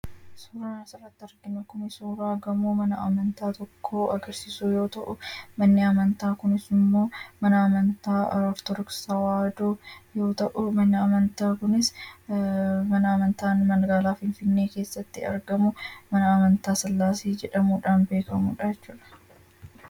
Suuraan asi irratti arginuu kun suuraa Gaamoo mana Amantaa tokko agarsisuu yoo ta'u, manni Amanta kunis immoo 'Mana Amataa Ortodoksii Tawayidoo" yoo ta'u, manni Amantaa kunis mana Amanta Magalaa Finfinee keessatti argamuu mana Amantaa Silasee jedhamuudhaan beekamudha jechuudha.